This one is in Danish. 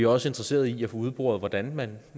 også interesserede i at få udboret hvordan man